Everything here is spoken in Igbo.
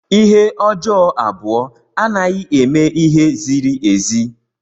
Ihe ọjọọ abụọ anaghị eme ihe ziri ezi.